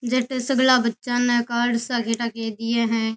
जटे सग़ला बच्चा ने कार से के ठा के दिया है।